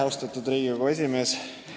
Austatud Riigikogu esimees!